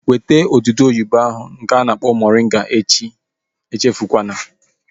Weta odudu oyibo ahu nke a na-akpọ moringa echi! Echefukwala